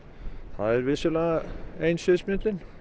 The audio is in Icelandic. það er vissulega ein sviðsmyndin